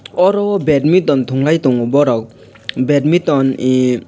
oro o badminton thunglai tongo borok badminton e.